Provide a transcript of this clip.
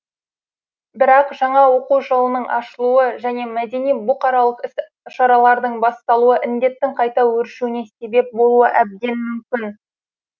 бірақ жаңа оқу жылының ашылуы және мәдени бұқаралық іс шаралардың басталуы індеттің қайта өршуіне себеп болуы әбден мүмкін